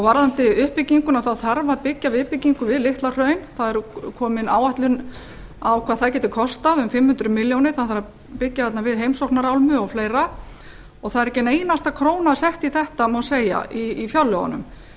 varðandi uppbygginguna þarf að byggja viðbyggingu við litla hraun það er komin áætlun um hvað það geti kostað um fimm hundruð milljónir það þarf að byggja þarna við heimsóknarálmu og fleiri og það er ekki ein einasta króna sett í þetta má segja í fjárlögunum